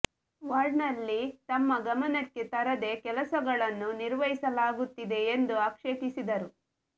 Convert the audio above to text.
ವಾರ್ಡ್ನಲ್ಲಿ ತಮ್ಮ ಗಮನಕ್ಕೆ ತರದೆ ಕೆಲಸಗಳನ್ನು ನಿರ್ವಹಿಸ ಲಾಗುತ್ತಿದೆ ಎಂದು ಆಕ್ಷೇಪಿಸಿದರು